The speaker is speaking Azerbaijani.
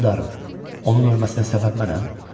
Hökmdarım, onun ölməsinə səbəb mənəm?